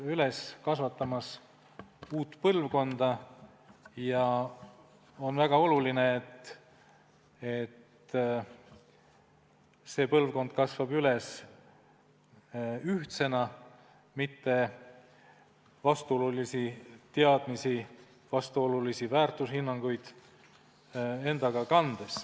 Me kasvatame üles uut põlvkonda ja on väga oluline, et see põlvkond kasvab ühtsena, mitte kandes endaga vastuolulisi teadmisi, vastuolulisi väärtushinnanguid.